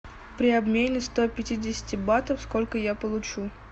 при обмене ста пятидесяти батов сколько я получу